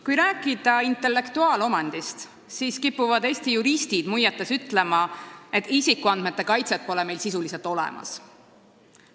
Kui rääkida intellektuaalomandist, siis kipuvad Eesti juristid muiates ütlema, et isikuandmete kaitset pole meil sisuliselt olemas.